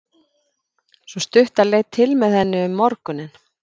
Sú stutta leit til með henni um morguninn.